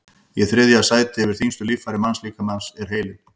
í þriðja sæti yfir þyngstu líffæri mannslíkamans er heilinn